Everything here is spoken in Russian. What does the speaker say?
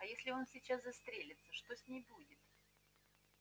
а если он сейчас застрелится что с ней будет